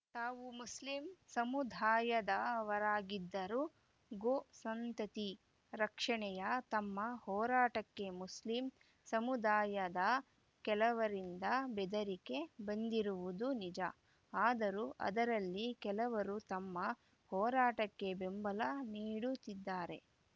ತಾವು ಮುಸ್ಲಿಂ ಸಮುದಾಯದವರಾಗಿದ್ದರೂ ಗೋ ಸಂತತಿ ರಕ್ಷಣೆಯ ತಮ್ಮ ಹೋರಾಟಕ್ಕೆ ಮುಸ್ಲಿಂ ಸಮುದಾಯದ ಕೆಲವರಿಂದ ಬೆದರಿಕೆ ಬಂದಿರುವುದು ನಿಜ ಆದರೂ ಅದರಲ್ಲಿ ಕೆಲವರು ತಮ್ಮ ಹೋರಾಟಕ್ಕೆ ಬೆಂಬಲ ನೀಡುತ್ತಿದ್ದಾರೆ